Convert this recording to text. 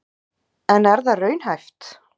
En er það raunhæft?